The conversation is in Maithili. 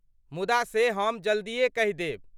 मुदा से हम जल्दीए कहि देब।